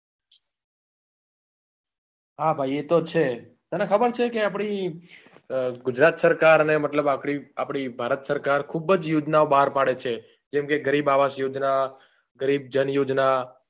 હા ભાઈ એ તો છે તને ખબર છે કે આપણી ગુજરાત સરકાર ને મતલબ આપળી આપણી ભારત સરકાર ખૂબ જ યોજના બહાર પાડે છે જેમ કે ગરીબ આવાસ યોજના ગરીબ જણ યોજના